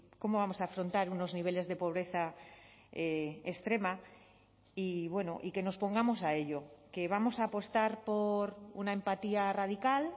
cómo vamos a afrontar unos niveles de pobreza extrema y bueno y que nos pongamos a ello que vamos a apostar por una empatía radical